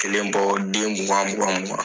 Kelen bɔ den mugan mugan mugan.